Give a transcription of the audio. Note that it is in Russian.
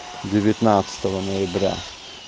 девятнадцатого ноября